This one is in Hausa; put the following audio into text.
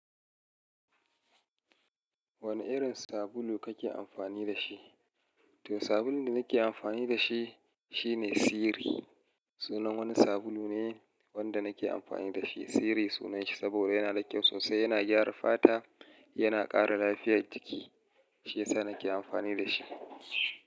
Wane irin sabulu kake amfani da shi? To sabulun da nake amfani da shi, shine Siri. Sunan wani sabulu ne wanda nake amfani da shi. Siri sunan shi saboda yana da kyau sosai, yana gyara fata, yana ƙara lafiyar jiki. Shi yasa nake amfani da shi.